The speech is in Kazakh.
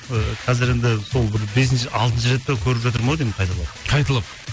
і қазір енді сол бір бесінші алтыншы рет па көріп жатырмын ау деймін қайтадан қайталап